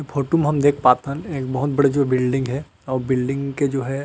Photo में हम देख पात हन एक बहुत बड़े जो बिल्डिंग हे वो बिल्डिंग के जो हे।